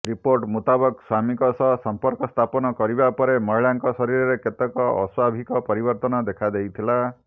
report ମୁତାବକ ସ୍ୱାମୀଙ୍କ ସହ ସମ୍ପର୍କ ସ୍ଥାପନ କରିବା ପରେ ମହିଳାଙ୍କ ଶରୀରରେ କେତେକ ଅସ୍ୱାଭାବିକ ପରିବର୍ତ୍ତନ ଦେଖାଦେଇଥିଲା